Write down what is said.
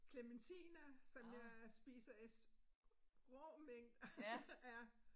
Klementiner som jeg spiser i rå mængder ja